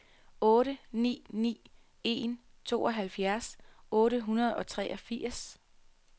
otte ni ni en tooghalvfjerds otte hundrede og treogfirs